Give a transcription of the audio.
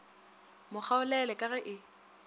mo kgaolele ka ge e